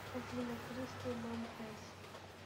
афина кристи мам фэйс